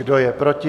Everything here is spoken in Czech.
Kdo je proti?